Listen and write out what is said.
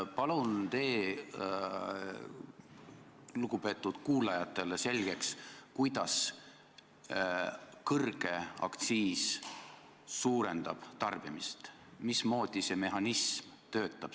Palun tee lugupeetud kuulajatele selgeks, kuidas kõrge aktsiis suurendab tarbimist, mismoodi see mehhanism töötab!